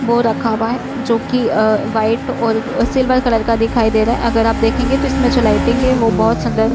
वो रखा हुआ है जो की अ व्हाइट और सिल्वर कलर का दिखाई दे रहा है। अगर आप देखेंगे तो इसमें जो लाइटिंग है वो बहोत सुंदर --